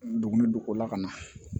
Duguni don ko la ka na